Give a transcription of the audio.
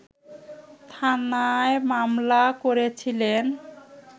থানায় মামলা করেছিলেন